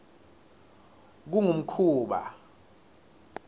kungumkhuba